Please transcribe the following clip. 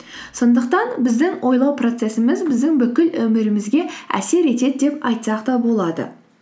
сондықтан біздің ойлау процессіміз біздің бүкіл өмірімізге әсер етеді деп айтсақ та болады